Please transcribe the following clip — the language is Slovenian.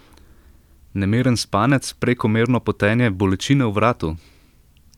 Nemiren spanec, prekomerno potenje, bolečine v vratu?